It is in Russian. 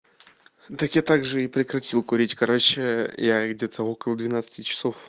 так я также и прекратил курить короче я их где-то около двенадцати часов